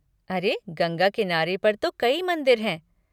अरे, गंगा किनारे पर तो कई मंदिर हैं।